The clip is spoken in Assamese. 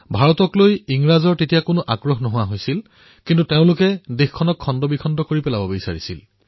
ভাৰতৰ প্ৰতি ইংৰাজৰ ৰুচি সমাপ্ত হলেও তেওঁলোকে দেশখনক বহুতো ভাগত ভাগ কৰি থৈ যাব বিচাৰিছিল